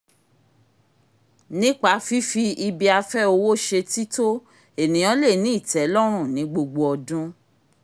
nípa fífi ibi-afẹ́ owó ṣe tító ènìyàn le ní ìtẹ́lọ́run ní gbogbo ọdún